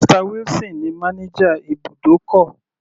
Mr wilson ní manager ibùdókọ̀.